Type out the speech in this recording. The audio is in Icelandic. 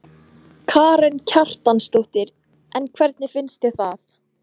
Karen Kjartansdóttir: En hvernig finnst þér það?